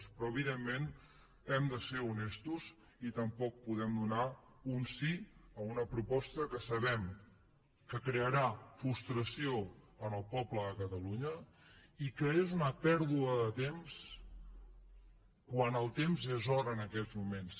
però evidentment hem de ser honestos i tampoc podem donar un sí a una proposta que sabem que crearà frustració al poble de catalunya i que és una pèrdua de temps quan el temps és or en aquests moments